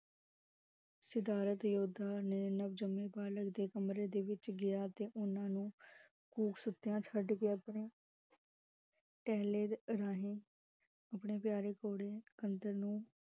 ਸਿਦਾਰਤ ਯੋਧਾ ਨੇ ਨਵ ਜਨਮੇ ਬਾਲਕ ਦੇ ਕਮਰੇ ਦੇ ਵਿਚ ਗਿਆ ਤੇ ਓਹਨਾ ਨੂੰ ਗੂਕ ਸੁਤਿਆ ਛੱਡ ਕੇ ਆਪਣੀ ਪਹਲੇ ਰਾਹੀਂ, ਆਪਣੇ ਪਿਆਰੇ ਘੋੜੇ ਅੰਦਰ ਨੂੰ